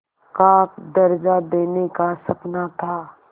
का दर्ज़ा देने का सपना था